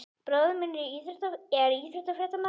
Bróðir minn er íþróttafréttamaður.